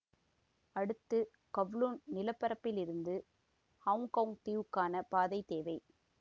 அடுத்து கவ்லூண் நிலப்பரப்பில் இருந்து ஹொங்கொங் தீவுக்கான பாதை தேவை